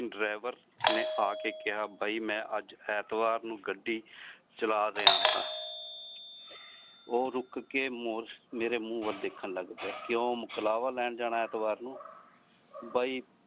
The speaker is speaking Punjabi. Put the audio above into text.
driver ਨੇ ਆਕੇ ਕਿਹਾ ਬਾਈ ਮੈਂ ਅੱਜ ਐਂਤਵਾਰ ਨੂੰ ਗੱਡੀ ਚਲਾ ਰਿਹਾ ਹਾ ਉਹ ਰੁਕ ਕੇ ਮੇਰੇ ਮੂੰਹ ਵੱਲ ਦੇਖਣ ਲੱਗ ਪਿਆ ਕਿਉਂ ਮੁਕਲਾਵਾ ਲੈਣ ਜਾਣਾ ਐਂਤਵਾਰ ਨੂੰ ਬਾਈ।